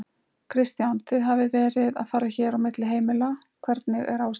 Kristján: Þið hafið verið að fara hér á milli heimila, hvernig er ástandið þar?